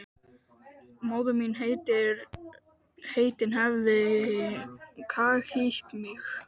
Móðir mín heitin hefði kaghýtt mig.